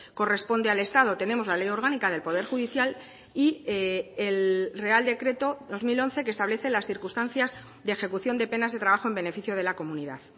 corresponde al estado tenemos la ley orgánica del poder judicial y el real decreto dos mil once que establece las circunstancias de ejecución de penas de trabajo en beneficio de la comunidad